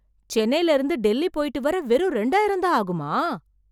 சென்னையில இருந்து டெல்லி போய்ட்டு வர வெறும் ரெண்டாயிரம் தான் ஆகுமா